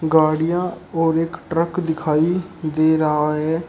गाड़ियों और एक ट्रक दिखाई दे रहा है।